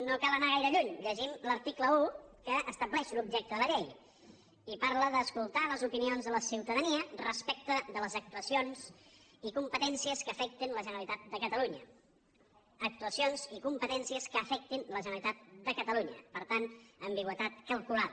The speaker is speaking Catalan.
no cal anar gaire lluny llegim l’article un que estableix l’objecte de la llei i parla d’ escoltar les opinions de la ciutadania respecte de les actuacions i competències que afectin la generalitat de catalunya actuacions i competències que afectin la generalitat de catalunya per tant ambigüitat calculada